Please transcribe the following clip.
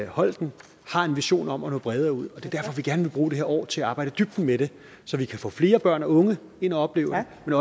holten har en vision om at nå bredere ud og vi gerne vil bruge det her år til at arbejde i dybden med det så vi kan få flere børn og unge ind og opleve det